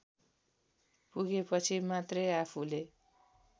पुगेपछि मात्रै आफूले